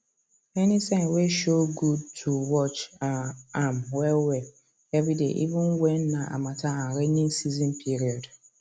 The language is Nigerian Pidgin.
any sign way show good to watch um am well well every day even when na harmattan and raining season period